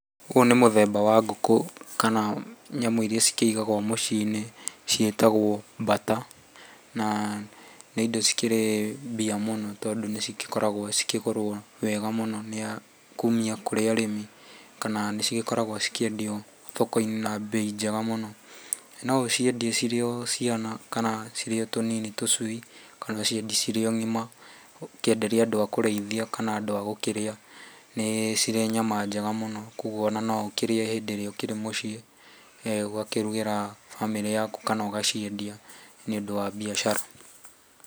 Ũyũ nĩ mũthemba wa ngũkũ kana nyamũ iria cikĩigagwo muciĩ-ini ciĩtagwo mbata. Na ni indo cikĩrĩ mbia mũno tondũ nĩcigĩkoragwo cikĩgũrwo wega mũno kumia kũrĩ arĩmi, kana nĩcigĩkoragwo cikĩendio thoko-inĩ na mbei njega mũno. Na no ũciendie cirĩ o ciana kana cirĩ o tũnini tũcui, kana ũciendie cirĩ ng'ima ukĩenderie andũ a kũrĩithia kana andũ a gũkĩrĩa. Ni cirĩ nyama njega mũno, koguo ona na ũkĩrĩe hĩndĩ ĩrĩa ũkĩrĩ muciĩ. Ugakĩrugĩra bamĩrĩ yaku kana ũgaciendia nĩundũ wa mbiacara.